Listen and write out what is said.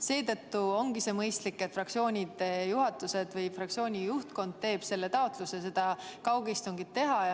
Seetõttu ongi mõistlik, et fraktsioonid või fraktsiooni juhtkond teeb kaugistungi taotluse.